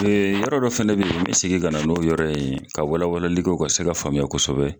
Mɛ yɔrɔ dɔ fana bɛ yen n bɛ segin ka na n'o yɔrɔ in ye ka walawalali kɛ ka se k'a faamuya kosɛbɛ.